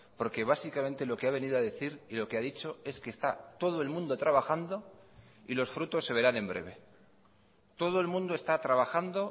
porque básicamente lo que ha venido a decir y lo que ha dicho es que está todo el mundo trabajando y los frutos se verán en breve todo el mundo está trabajando